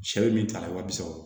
Sɛ bɛ min ta ye wa bi saba